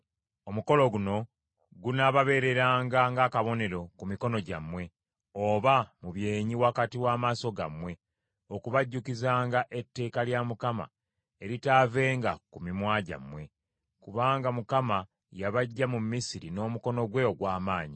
Omukolo guno gunaababeereranga ng’akabonero ku mikono gyammwe, oba mu byenyi wakati w’amaaso gammwe, okubajjukizanga etteeka lya Mukama eritaavenga ku mimwa gyammwe. Kubanga Mukama yabaggya mu Misiri n’omukono gwe ogw’amaanyi.